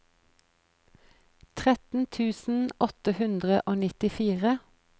tretten tusen åtte hundre og nittifire